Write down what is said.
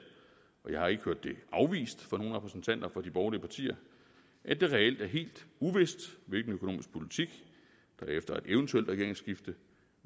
og jeg har ikke hørt det afvist fra nogen repræsentanter for de borgerlige partier at det reelt er helt uvist hvilken økonomisk politik der efter et eventuelt regeringsskifte